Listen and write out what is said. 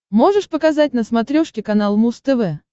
можешь показать на смотрешке канал муз тв